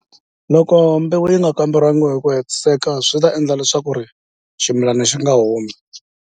Loko mbewu yi nga kamberiwangi hi ku hetiseka swi ta endla leswaku ri ximilana xi nga humi.